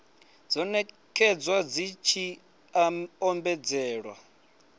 dzo nekedzwa dzi tshi ombedzela